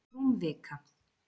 Rúm vika